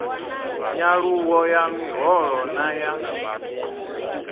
nyaluwo ya miholo na ya